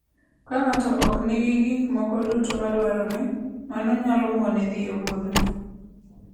Ka ng'ato ok nigi gik moko duto madwarore, mano nyalo mone dhi e wuodhno.